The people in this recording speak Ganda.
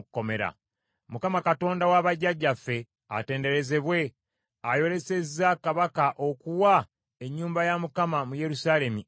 Mukama Katonda w’abajjajjaffe atenderezebwe ayolesezza kabaka okuwa ennyumba ya Mukama mu Yerusaalemi ekitiibwa,